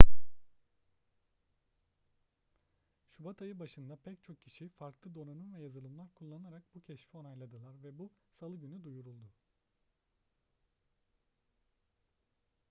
şubat ayı başında pek çok kişi farklı donanım ve yazılımlar kullanarak bu keşfi onayladılar ve bu salı günü duyuruldu